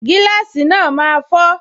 Gíláàsì náà máa fọ